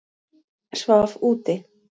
Svaf úti